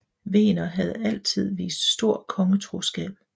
Wegener havde altid vist stor kongetroskab